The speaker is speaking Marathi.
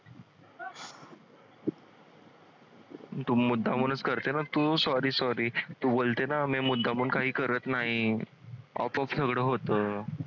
तू मुद्दामूनच करते ना तू sorry sorry तू बोलते ना मी मुद्दामून काही करत नाही